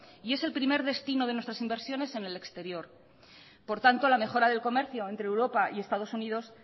y es el primer destino de nuestras inversiones en el exterior por tanto la mejora del comercio entre europa y estados unidos